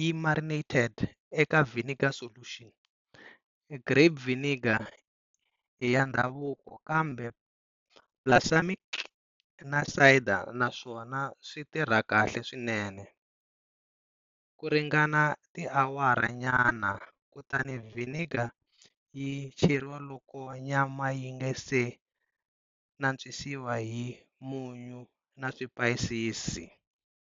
yi marinated eka vinegar solution, grape vinegar i ya ndhavuko kambe balsamic na cider na swona switirha kahle swinene, kuringana tiawara nyana, kutani vinegar yi cheriwa loko nyama yinga se nantswisiwa hi munyu na swipayisisi.